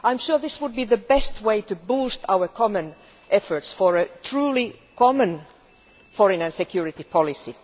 I am sure this would be the best way to boost our common efforts for a truly common foreign and security policy.